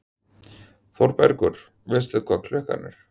ÞÓRBERGUR: Veistu hvað klukkan er?